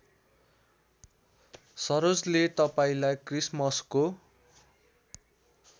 सरोजले तपाईँलाई क्रिसमसको